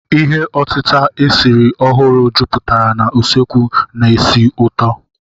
Ihe otita esiri ọhụrụ jupụtara na usekwu na ísì ụtọ.